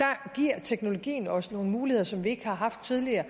der giver teknologien os nogle muligheder som vi ikke har haft tidligere